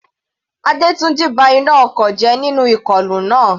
Adetunji ba iná ọkọ̀ jẹ́ nínú ìkọlù náà.